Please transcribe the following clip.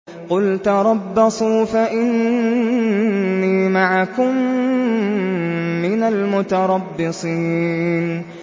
قُلْ تَرَبَّصُوا فَإِنِّي مَعَكُم مِّنَ الْمُتَرَبِّصِينَ